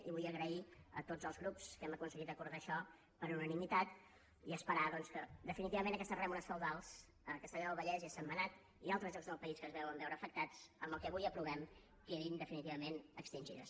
i vull agrair a tots els grups que hàgim aconseguit acordar això per unanimitat i esperar doncs que definitivament aquestes rèmores feudals a castellar del vallès i a sentmenat i a altres llocs del país que s’hi deuen veure afectats amb el que avui aprovem quedin definitivament extingides